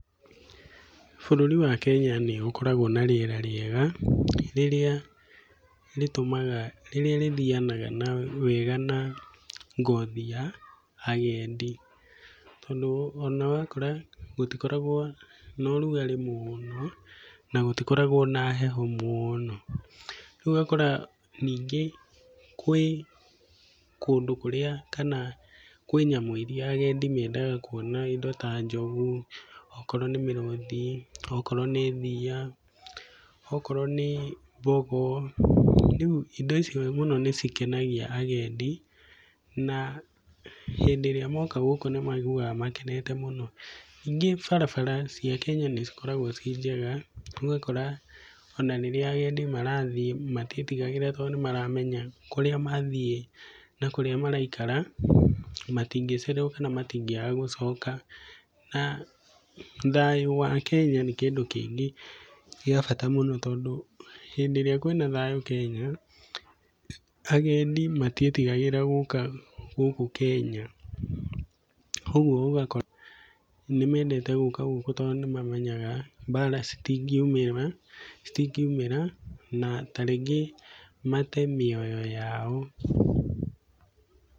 Bũrũri wa Kenya nĩ ũkoragwo na rĩera rĩega rĩrĩa rĩthianaga wega na ngothi ya agendi. Tondũ ona wakora gũtikoragwo na ũrugarĩ mũno na gũtikoragwo na heho mũno. Rĩu ũgakora ningĩ gwĩ kũndũ kũrĩa kana kwĩ nyamũ irĩa agendi mendaga kuona, indo ta njogu, okorwo nĩ mĩrũthi, okorwo nĩ thiia, okorwo nĩ thogo, rĩu indo icio mũno nĩ cikenagia agendi na hĩndĩ ĩrĩa moka gũkũ nĩ maiguaga makenete mũno. Ningĩ barabara cia Kenya nĩ cikoragwo ciĩ njega, ũgakora ona rĩrĩa agendi marathiĩ matiĩtigagĩra tondũ nĩ maramenya kũrĩa mathiĩ na kũrĩa maraikara, matingĩcererwo kana matingĩaga gũcoka. Na thayũ wa Kenya nĩ kĩndũ kĩngĩ gĩa bata mũno, tondũ hĩndĩ ĩrĩa kwĩ na thayũ Kenya, agendi matiĩtigĩraga gũka gũkũ Kenya. Ũguo gũgakorwo nĩ mendete gũka gũkũ tondũ, nĩ mamenyaga mbara citingiumĩra na ta rĩngĩ mate mĩoyo yao...